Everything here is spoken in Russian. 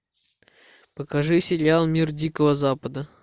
покажи сериал мир дикого запада